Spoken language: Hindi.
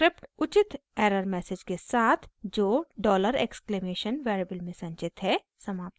स्क्रिप्ट उचित एरर मैसेज के साथ जो डॉलर एक्सक्लेमेशन $! वेरिएबल में संचित है समाप्त हो जाएगी